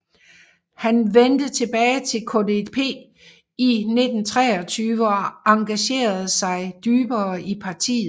Han vendte tilbage til KPD i 1923 og engagerede sig dybere i partiet